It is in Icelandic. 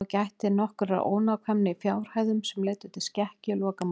Þá gætti nokkurrar ónákvæmni í fjárhæðum sem leiddu til skekkju í lokamatinu.